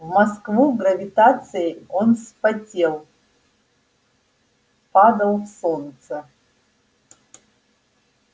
в москву гравитацией он вспотел падал в солнце